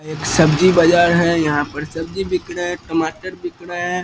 यह एक सब्जी बाजार है | यहाँ पर सब्जी बिक रहे हैं टमाटर बिक रहे --